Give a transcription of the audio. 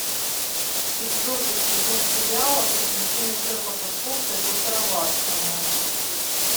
четвертый сезон сериала приключения шерлока холмса и доктора ватсона